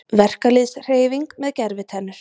Verkalýðshreyfing með gervitennur